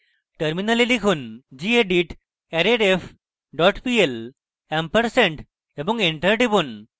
terminal লিখুন: gedit arrayref dot pl ampersand এবং enter টিপুন